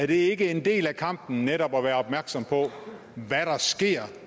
det ikke en del af kampen netop at være opmærksom på hvad der sker